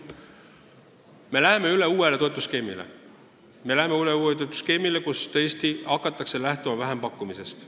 Me läheme üle toetusskeemile, mille kohaselt tõesti hakatakse lähtuma vähempakkumisest.